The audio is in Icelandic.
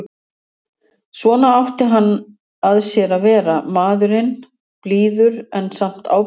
Svona átti hann að sér að vera, maðurinn, blíður en samt ábyrgðarfullur.